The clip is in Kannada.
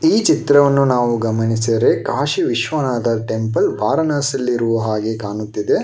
ಈ ಚಿತ್ರವನ್ನು ನಾವು ಗಮನಿಸಿದರೆ ಕಾಶಿ ವಿಶ್ವನಾಥ ಟೆಂಪಲ್ ವಾರಣಾಸಿಯಲ್ಲಿರುವ ಹಾಗೆ ಕಾಣುತ್ತಿದೆ.